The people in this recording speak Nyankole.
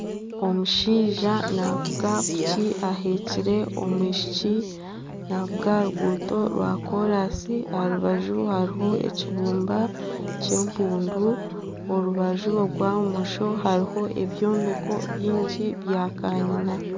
Omushaija navuga piki aheekire omwishiki navuga aha ruguuto rwa kolansi aha rubaju hariho ekibumba ky'empundu orubaju orwa bumosho hariho ebyombeko nyingi bya kanyina